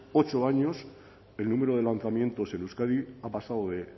ocho años el número de lanzamientos en euskadi ha pasado de